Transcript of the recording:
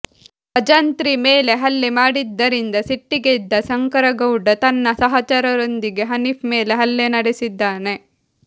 ಭಜಂತ್ರಿ ಮೇಲೆ ಹಲ್ಲೆ ಮಾಡಿದ್ದರಿಂದ ಸಿಟ್ಟಿಗೆದ್ದ ಶಂಕರಗೌಡ ತನ್ನ ಸಹಚರರೊಂದಿಗೆ ಹನೀಫ್ ಮೇಲೆ ಹಲ್ಲೆ ನಡೆಸಿದ್ದಾನೆ